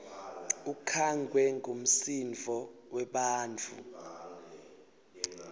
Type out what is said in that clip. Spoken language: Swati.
ukhangwe ngumsindvo webantfu